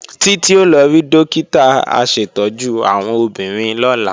Títí ó lọ rí Dókítà aṣètọ́jú àwọn obìnrin lọ́la